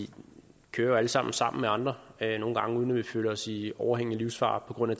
vi kører jo alle sammen sammen med andre nogle gange uden at vi føler os i overhængende livsfare på grund af